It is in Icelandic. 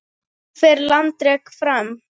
Hvernig fer landrek fram?